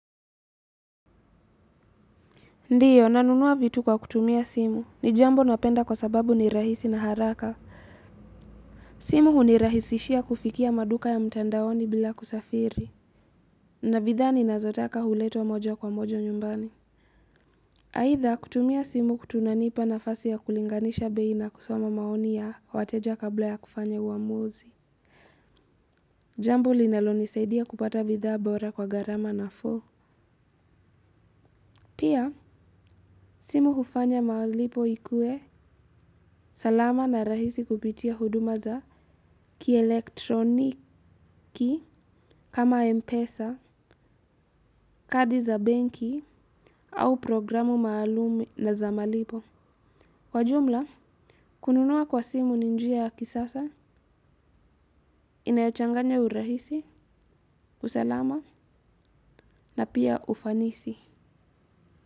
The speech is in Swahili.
Ndio, nanunua vitu kwa kutumia simu. Ni jambo napenda kwa sababu ni rahisi na haraka. Simu hunirahisishia kufikia maduka ya mtandaoni bila kusafiri. Na bidhaa ninazotaka huletwa moja kwa moja nyumbani. Aidha, kutumia simu kunanipa nafasi ya kulinganisha bei na kusoma maoni ya wateja kabla ya kufanya uamuzi. Jambo linalonisaidia kupata bidhaa bora kwa gharama nafuu. Pia, simu hufanya malipo ikuwe salama na rahisi kupitia huduma za kielektroniki. Kama m-pesa, kadi za benki au programu maalumu na za malipo. Kwa jumla, kununua kwa simu ni njia ya kisasa, inayochanganya urahisi, usalama na pia ufanisi.